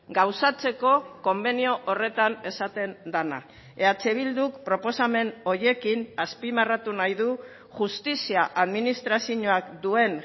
gauzatzeko konbenio horretan esaten dena eh bilduk proposamen horiekin azpimarratu nahi du justizia administrazioak duen